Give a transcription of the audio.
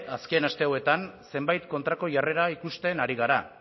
azken aste hauetan zenbait kontrako jarrera ikusten ari gara